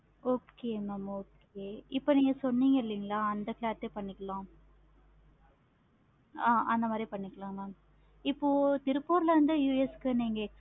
okay mam okay இப்ப நீங்க சொன்னிங்க இல்லைங்களா அந்த மாதிரி பண்ணிக்கலாம். ஆஹ் அந்த மாதிரி பண்ணிக்கலாம். mam இப்போ திருப்பூர்ல இருந்து US க்கு நீங்க